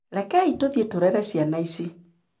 Rekei tũthiĩ tũrere ciana ici.